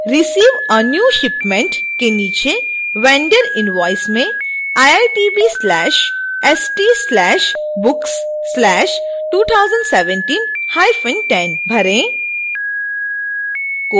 receive a new shipment के नीचे vendor invoice में iitb/st/books/201710 भरें